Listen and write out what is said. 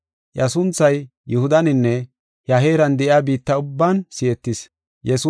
Iya sunthay Yihudaninne he heeran de7iya biitta ubban si7etis.